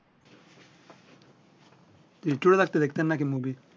দেখতেন না কি মুভি